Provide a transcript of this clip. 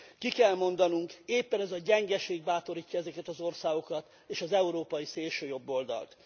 Ki kell mondanunk éppen ez a gyengeség bátorítja ezeket az országokat és az európai szélsőjobboldalt.